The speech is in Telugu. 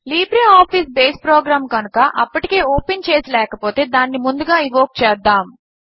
లిబ్రిఆఫిస్ బేస్ ప్రోగ్రామ్ కనుక అప్పటికే ఓపెన్ చేసి లేకపోతే దానిని ముందుగా ఇన్వోక్ చేద్దాము